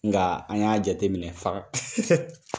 Nka an k'a jate minɛ fana .